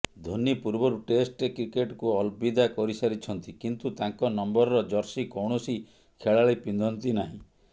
ଧୋନି ପୂର୍ବରୁ ଟେଷ୍ଟ କ୍ରିକେଟକୁ ଅଲବିଦା କହିସାରିଛନ୍ତି କିନ୍ତୁ ତାଙ୍କ ନମ୍ବରର ଜର୍ସି କୌଣସି ଖେଳାଳି ପିନ୍ଧନ୍ତି ନାହିଁ